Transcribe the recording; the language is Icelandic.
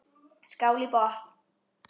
Skál í botn.